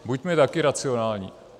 Buďme taky racionální.